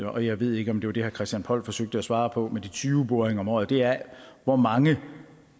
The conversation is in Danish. og jeg ved ikke om det var det herre christian poll forsøgte at svare på med de tyve boringer om året er hvor mange